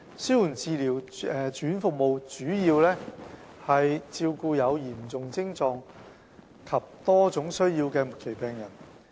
紓緩治療住院服務主要照顧有嚴重徵狀及多種需要的末期病人。